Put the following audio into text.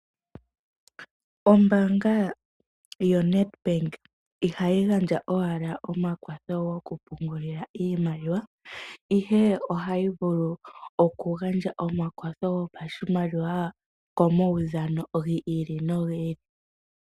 Ombaanga yoNedbank ihayi gandja owala omakwatho gokupungulila iimaliwa, ihe ohayi vulu okugandja omakwatho gopashimaliwa komawudhano gi ili no gi ili.